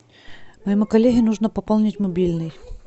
моему коллеге нужно пополнить мобильный